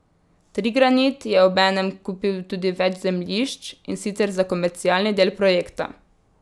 Trigranit je obenem kupil tudi več zemljišč, in sicer za komercialni del projekta.